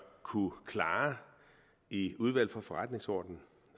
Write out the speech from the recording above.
kunne klare i udvalget for forretningsordenen